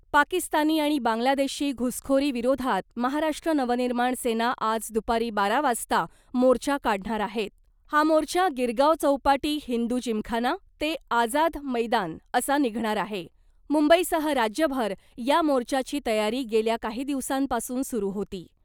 पाकिस्तानी आणि बांगलादेशी घुसखोरी विरोधात महाराष्ट्र नवनिर्माण सेना आज दुपारी बारा वाजता मोर्चा काढणार आहे. हा मोर्चा गिरगाव चौपाटी हिंदू जिमखाना ते आझाद मैदान असा निघणार आहे. मुंबईसह राज्यभर या मोर्चाची तयारी गेल्या काही दिवसांपासून सुरू होती .